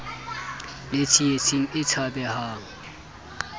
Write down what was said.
le tsietsing e tshabehang ha